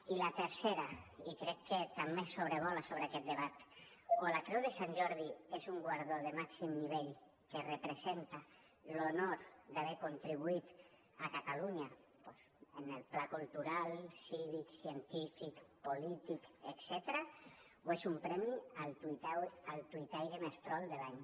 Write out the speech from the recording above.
i la tercera i crec que també sobrevola sobre aquest debat o la creu de sant jordi és un guardó de màxim nivell que representa l’honor d’haver contribuït a catalunya en el pla cultural cívic científic polític etcètera o és un premi al tuitaire més trol de l’any